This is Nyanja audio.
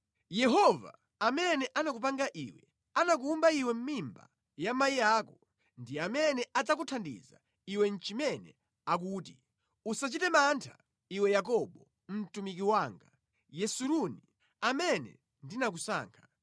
Yehova amene anakupanga iwe, anakuwumba iwe mʼmimba ya amayi ako, ndi amene adzakuthandiza iwe. Iye akuti, Usachite mantha, iwe Yakobo, mtumiki wanga, Yesuruni, amene ndinakusankha.